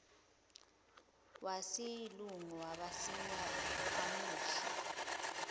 wesilungu basayina kwamuhle